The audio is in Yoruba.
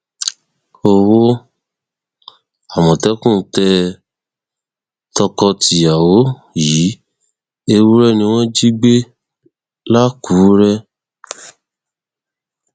owó àmọtẹkùn tẹ tọkọtìyàwó yìí ewúrẹ ni wọn jí gbé làkùrẹ